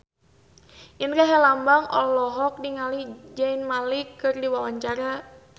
Indra Herlambang olohok ningali Zayn Malik keur diwawancara